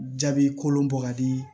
Jaabi kolon bɔ ka di